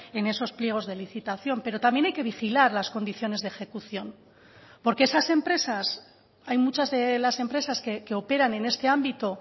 en esos pliegos de licitación pero también hay que vigilar las condiciones de ejecución porque esas empresas hay muchas de las empresas que operan en este ámbito